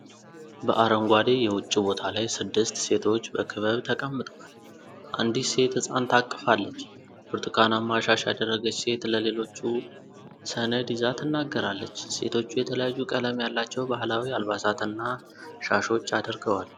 በአረንጓዴ የውጭ ቦታ ላይ ስድስት ሴቶች በክበብ ተቀምጠዋል። አንዲት ሴት ሕፃን ታቅፋለች፤ ብርቱካናማ ሻሽ ያደረገች ሴት ለሌሎቹ ሰነድ ይዛ ትናገራለች። ሴቶቹ የተለያዩ ቀለም ያላቸው ባህላዊ አልባሳትና ሻሾች አድርገዋል።